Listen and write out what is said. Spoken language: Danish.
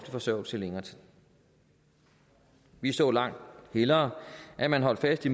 forsørgelse i længere tid vi så langt hellere at man holdt fast i